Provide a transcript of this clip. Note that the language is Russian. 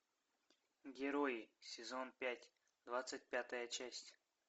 герои сезон пять двадцать пятая часть